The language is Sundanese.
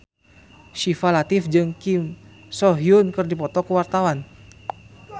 Syifa Latief jeung Kim So Hyun keur dipoto ku wartawan